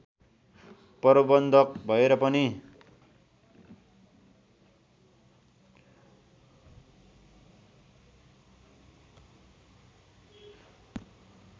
प्रबन्धक भएर पनि